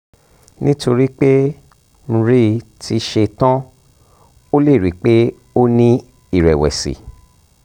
nítorí pé mri ti ṣe tán o lè rí i pé o ní ìrẹ̀wẹ̀sì